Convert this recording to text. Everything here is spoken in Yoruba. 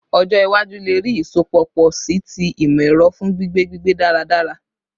Ọjọ iwaju le rii isọpọ pọ si ti imọ-ẹrọ fun gbigbe gbigbe daradara